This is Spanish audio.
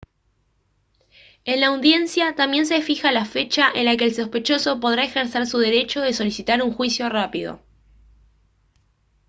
en la audiencia también se fija la fecha en la que el sospechoso podrá ejercer su derecho de solicitar un juicio rápido